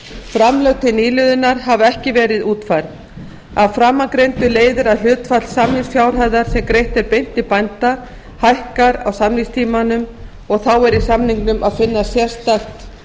framlög til nýliðunar hafa ekki verið útfærð af framangreindu leiðir að hlutfall samningsfjárhæðar sem greitt er beint til bænda hækkar á samningstímanum og þá er í samningnum að finna sérstakt